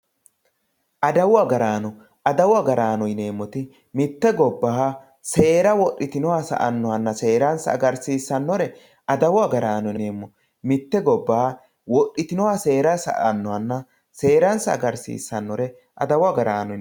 adawu agaraano adawu agaraano yineemmoti mitte gobbaha seera wodhitino sa'annohanna seeransa agarsiissannore adawu agaraano yineemmo mitte gobbaha wodhitinoha seera sa'annohanna seeransa agarsiissannore adawu agaraano yineemmo.